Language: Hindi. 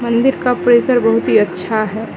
मंदिर का परिसर बहुत ही अच्छा है।